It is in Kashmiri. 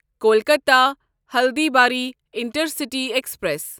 Kolkata Haldibari intercity express